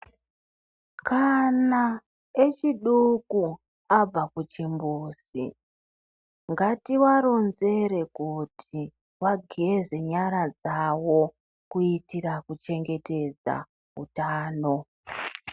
Kana echidoko abva kuchimbuzi ngativaronzere kuti vageze nyara dzavo kuitira kuchengetedza utano.